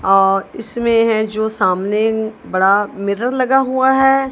और इसमें है जो सामने बड़ा मिरर लगा हुआ है।